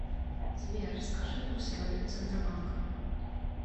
сбер скажи курсы валют центробанка